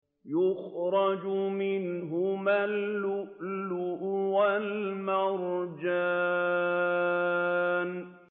يَخْرُجُ مِنْهُمَا اللُّؤْلُؤُ وَالْمَرْجَانُ